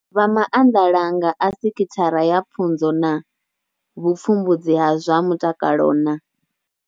Vha maanḓalanga a sekhithara ya pfunzo na vhupfumbudzi ha zwa mutakalo na.